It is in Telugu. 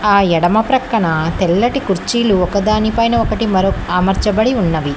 ఆ ఎడమ ప్రక్కన తెల్లటి కుర్చీలు ఒకదాని పైన ఒకటి మరో అమర్చబడి ఉన్నవి.